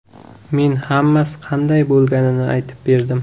Men hammasi qanday bo‘lganini aytib berdim.